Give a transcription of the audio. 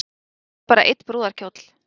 En það verður bara einn brúðarkjóll